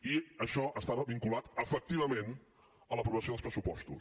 i això estava vinculat efectivament a l’aprovació dels pressupostos